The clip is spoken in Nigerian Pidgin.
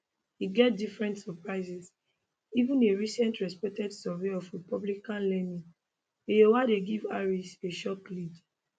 e get different surprises even a recent respected survey of republicanleaning iowa dey give harris a shock lead